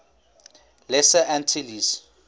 lesser antilles